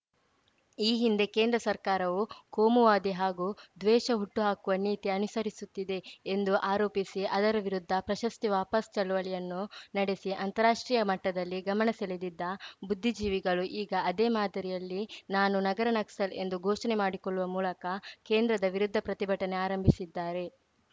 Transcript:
ಈ ಹಿಂದೆ ಕೇಂದ್ರ ಸರ್ಕಾರವು ಕೋಮುವಾದಿ ಹಾಗೂ ದ್ವೇಷ ಹುಟ್ಟುಹಾಕುವ ನೀತಿ ಅನುಸರಿಸುತ್ತಿದೆ ಎಂದು ಆರೋಪಿಸಿ ಅದರ ವಿರುದ್ಧ ಪ್ರಶಸ್ತಿ ವಾಪಸ್‌ ಚಳವಳಿಯನ್ನು ನಡೆಸಿ ಅಂತಾರಾಷ್ಟ್ರೀಯ ಮಟ್ಟದಲ್ಲಿ ಗಮನ ಸೆಳೆದಿದ್ದ ಬುದ್ಧಿಜೀವಿಗಳು ಈಗ ಅದೇ ಮಾದರಿಯಲ್ಲಿ ನಾನು ನಗರ ನಕ್ಸಲ್‌ ಎಂದು ಘೋಷಣೆ ಮಾಡಿಕೊಳ್ಳುವ ಮೂಲಕ ಕೇಂದ್ರದ ವಿರುದ್ಧ ಪ್ರತಿಭಟನೆ ಆರಂಭಿಸಿದ್ದಾರೆ